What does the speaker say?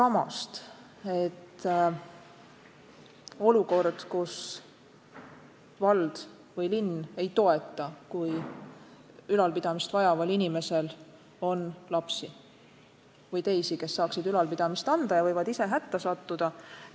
Kas või olukorras, kus vald või linn ei toeta, kui ülalpidamist vajaval inimesel on lapsi või teisi, kes võiksid teda ülal pidades ise hätta sattuda.